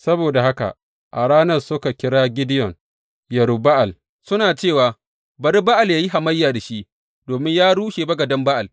Saboda haka a ranar suka kira Gideyon, Yerub Ba’al, suna cewa, Bari Ba’al ya yi hamayya da shi, domin ya rushe bagaden Ba’al.